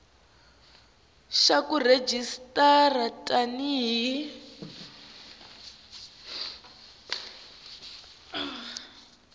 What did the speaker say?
xa ku rejistara tani hi